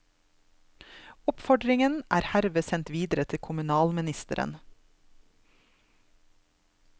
Oppfordringen er herved sendt videre til kommunalministeren.